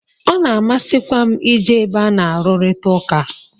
Ọ na-amasikwa m i je ebe a na-arurita ụka.